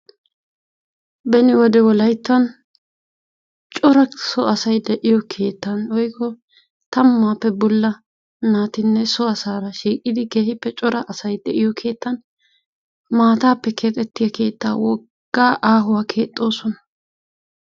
beni wode wolayttan cora so asay de'iyoo keettan woykko tammappe bolla naatinne so asara shiiqidi keehippe cora asay de'iyoo keettan maattaappe keexxetiyaa keettaa woggaa aahuwaa keexxoosona.